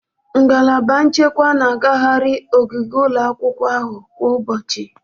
Ngalaba nchekwa na-agaghari ogige ụlọ akwụkwọ ahụ kwa ụbọchị.